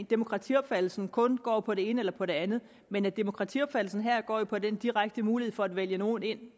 demokratiopfattelsen kun går på det ene eller på det andet men at demokratiopfattelsen her går på den direkte mulighed for at vælge nogen ind